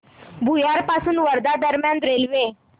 भुयार पासून वर्धा दरम्यान रेल्वे